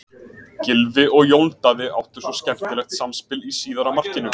Gylfi og Jón Daði áttu svo skemmtilegt samspil í síðara markinu.